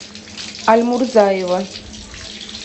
альмурзаева